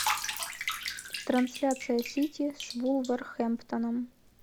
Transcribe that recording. трансляция сити с вулверхэмптоном